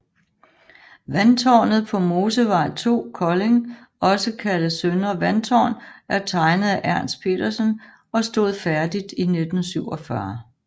Vandtårnet på Mosevej 2 Kolding også kaldet Søndre Vandtårn er tegnet af Ernst Petersen og stod færdigt i 1947